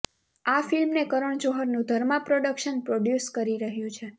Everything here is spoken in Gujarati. આ ફિલ્મને કરણ જોહરનું ધર્મા પ્રોડક્શન પ્રોડ્યુસ કરી રહ્યું છે